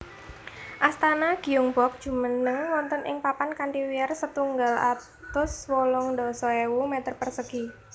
Astana Gyeongbok jumeneng wonten ing papan kanthi wiyar setunggal atus wolung dasa ewu meter persegi